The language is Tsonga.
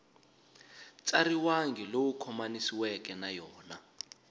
tsariwangi lowu khomanisiweke na yona